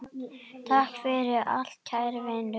Takk fyrir allt kæri vinur.